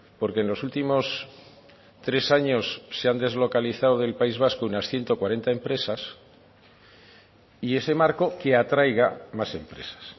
porque en los últimos tres años se han deslocalizado del país vasco unas ciento cuarenta empresas y ese marco que atraiga más empresas